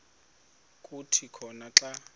kuthi khona xa